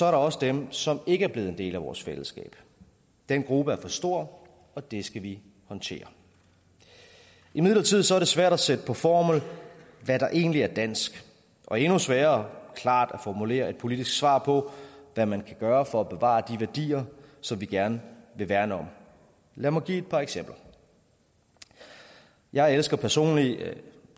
også dem som ikke er blevet en del af vores fællesskab den gruppe er for stor og det skal vi håndtere imidlertid er det svært at sætte på formel hvad der egentlig er dansk og endnu sværere er klart at formulere et politisk svar på hvad man kan gøre for at bevare de værdier som vi gerne vil værne om lad mig give et par eksempler jeg elsker personligt